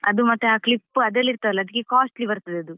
ಅದು ಮತ್ತೆ ಆ clip ಎಲ್ಲ ಇರ್ತದಲ್ವಾ ಅದು costly ಬರ್ತದೆ ಅದು.